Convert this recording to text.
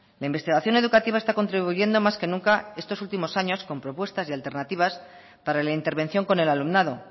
la investigación educativa está contribuyendo más que nunca estos últimos años con propuestas y alternativas para la intervención con el alumnado